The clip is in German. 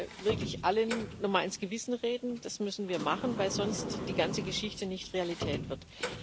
Ich möchte wirklich allen noch mal ins Gewissen reden, das müssen wir machen, weil sonst die ganze Geschichte nicht Realität wird.